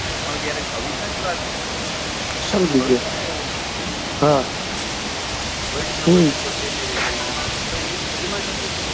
પણ જયારે કવિતાની વાત કરીએ તો કવિતા માં એવું નથી વૈષ્ણવ જન તો તેને રે કહીએ તો એ એમાં તમને,